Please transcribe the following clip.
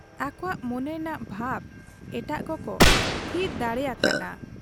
ᱟᱠᱚᱣᱟᱜ ᱢᱚᱱᱮᱨᱮᱱᱟᱜ ᱵᱷᱟᱵᱽ ᱮᱴᱟᱜ ᱠᱚᱠᱚ ᱛᱷᱤᱛ ᱫᱟᱲᱮᱭᱟᱠᱟ ᱦᱟᱫ ᱟ ᱾